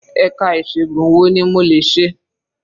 Ẹ̀ka ìṣègun wo ni mo lè ṣe?